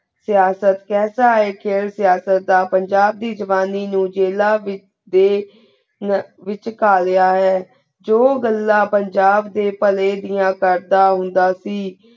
ਸਿਯਾਸਤ ਕਾਯ੍ਸਾ ਆਯ ਖੇਲ ਸਿਯਾਸਤ ਦਾ ਪੰਜਾਬ ਦੀ ਜ਼ੁਬਾਨੀ ਨੂ ਜੀਲਾ ਵਿਚ ਆਯ ਨਾ ਵਿਚ ਖਾਲਿਯਾ ਹੈ ਜੋ ਗੱਲਾ ਪੰਜਾਬ ਦੇ ਪਹਲੇ ਦਿਯਾ ਕਰ ਦਾ ਹੁੰਦਾ ਸੀ